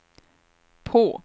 på